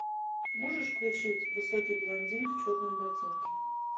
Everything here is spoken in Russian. можешь включить высокий блондин в черном ботинке